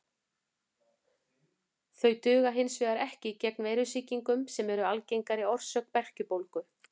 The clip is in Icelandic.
Þau duga hins vegar ekki gegn veirusýkingum sem eru algengari orsök berkjubólgu.